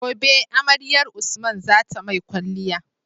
Gobe amaryar usman zata mai kwaliya